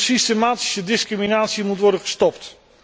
Hun systematische discriminatie moet worden gestopt.